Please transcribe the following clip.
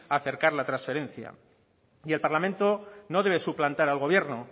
acercar la transferencia el parlamento no debe suplantar al gobierno